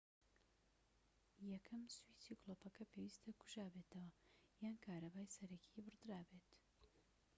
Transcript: یەکەم سویچی گلۆپەکە پێویستە کوژابێتەوە یان کارەبای سەرەکی بڕدرابێت